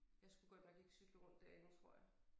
Jeg skulle godt nok ikke cykle rundt derinde tror jeg